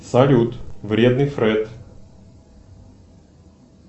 салют вредный фред